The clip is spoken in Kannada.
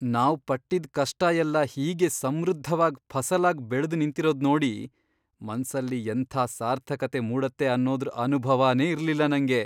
ನಾವ್ ಪಟ್ಟಿದ್ದ್ ಕಷ್ಟ ಎಲ್ಲ ಹೀಗೆ ಸಮೃದ್ಧವಾದ್ ಫಸಲಾಗ್ ಬೆಳ್ದ್ ನಿಂತಿರೋದ್ನೋಡಿ ಮನ್ಸಲ್ಲಿ ಎಂಥ ಸಾರ್ಥಕತೆ ಮೂಡತ್ತೆ ಅನ್ನೋದ್ರ್ ಅನುಭವನೇ ಇರ್ಲಿಲ್ಲ ನಂಗೆ!